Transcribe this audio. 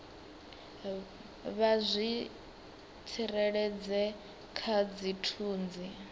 vha zwi tsireledze kha dzithunzi